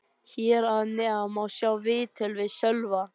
Hér að neðan má sjá viðtal við Sölva.